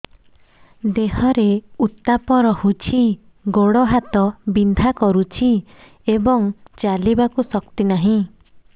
ଦେହରେ ଉତାପ ରହୁଛି ଗୋଡ଼ ହାତ ବିନ୍ଧା କରୁଛି ଏବଂ ଚାଲିବାକୁ ଶକ୍ତି ନାହିଁ